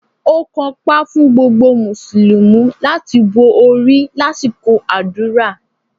Ó kanpá fún gbogbo Mùsùlùmí láti bo orí lásìkò àdúrà